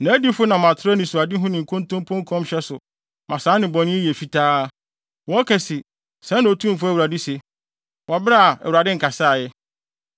Nʼadiyifo nam atoro anisoadehu ne nkontompo nkɔmhyɛ so ma saa nnebɔne yi yɛ fitaa. Wɔka se, ‘Sɛɛ na Otumfo Awurade se,’ wɔ bere a Awurade nkasaa ɛ.